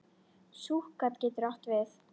Súkkat getur átt við